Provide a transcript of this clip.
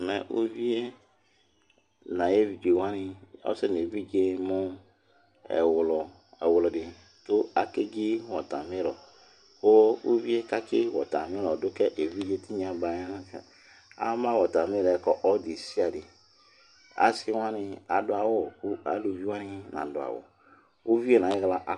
Mɛ uvié na ayé évidjé wani Ɔsɛ né vidjé mu ɛwludi ku akédji watamiru Ku uvié katsi watamiru yɔ duka évidjé tignɔ baƴɛ na axlaa, ama watamiru ka alωdesiaɗé Asi wani adu awu, uluvi wani nadu awu Uvié na yihla